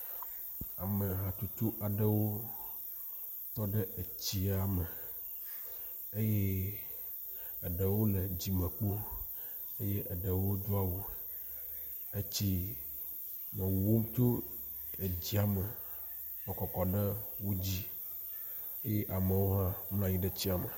ame hatsotso aɖewo tɔɖe etsia me eye eɖewo le dzimekpo eye eɖewo doawu etsi wowom tso etsia me kɔkɔ ɖe wodzi eye amewo hã nɔnyiɖe tsia me